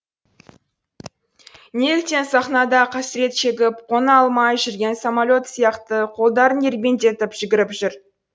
неліктен сахнада қасірет шегіп қона алмай жүрген самолет сияқты қолдарын ербеңдетіп жүгіріп жүр